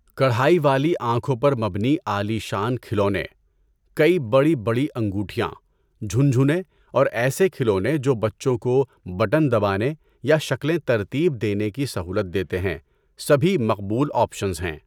کڑھائی والی آنکھوں پر مبنی عالیشان کھلونے، کئی بڑی بڑی انگوٹھیاں، جھنجھنے اور ایسے کھلونے جو بچوں کو بٹن دبانے یا شکلیں ترتیب دینے کی سہولت دیتے ہیں، سبھی مقبول آپشنز ہیں۔